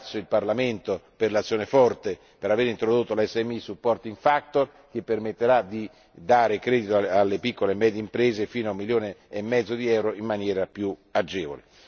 III. Ringrazio il Parlamento per l'azione forte, per aver introdotto l' SME supporting factor che permetterà di dare credito alle piccole e medie imprese fino a un milione e mezzo di euro in maniera più agevole.